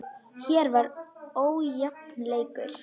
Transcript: Hér var ójafn leikur.